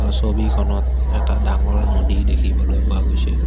ছবিখনত এটা ডাঙৰ নদী দেখিবলৈ পোৱা গৈছে।